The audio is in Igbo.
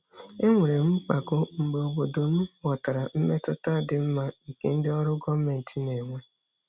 Enwere m mpako mgbe obodo m ghọtara mmetụta dị mma nke ndị ọrụ gọọmentị na-enwe.